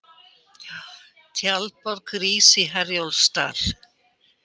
Tjaldborg rís í Herjólfsdal